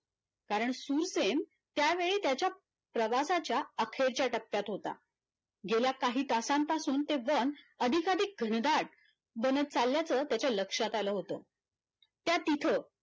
कारण शुरसेन त्यावेळी त्याचा प्रवासाच्या अखेरच्या टप्यात होता गेल्या काही तासांपासून ते वन अधिक अधिक घनदाट बनत चालल्याच त्याच्या लक्षात आल होतं, त्यात तिथं